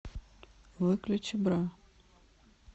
выключи бра